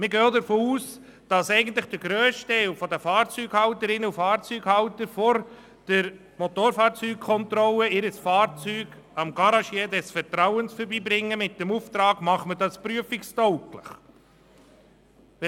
Wir gehen auch davon aus, dass der grösste Teil der Fahrzeughalterinnen und Fahrzeughalter vor der Motorfahrzeugkontrolle ihr Fahrzeug bei einem Garagisten ihres Vertrauens vorbeibringen mit dem Auftrag, das Fahrzeug prüfungstauglich zu machen.